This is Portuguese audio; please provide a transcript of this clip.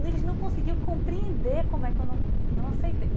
E eles não conseguiam compreender como é que eu não não aceitei.